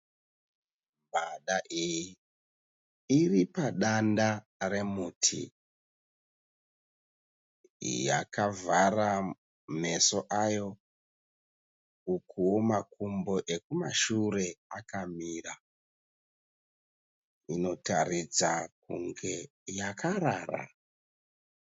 Mbada iyi iri padanda remuti yakavhara meso ayo ukuwo makumbo ekumashure akamira inotaridza kunge yakarara